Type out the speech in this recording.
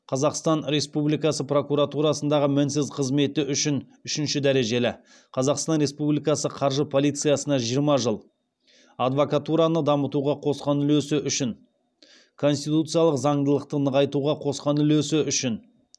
қазақстан республикасы прокуратурасындағы мінсіз қызмет үшін үшінші дәрежелі қазахстан республикасы қаржы полициясына жиырма жыл адвакатураны дамытуға қосқан улесі үшін конституциялық заңдылықты нығайтуға қосқан үлесі үшін